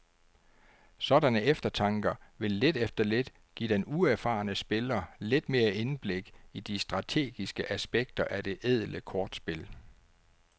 Sådanne eftertanker vil lidt efter lidt give den uerfarne spiller lidt mere indblik i de strategiske aspekter af det ædle kortspil.